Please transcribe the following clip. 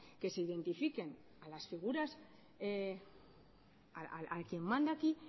que se identifiquen a las figuras a quien manda aquí